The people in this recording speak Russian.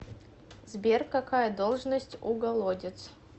сбер какая должность у голодец